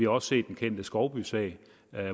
også set den kendte skovbysag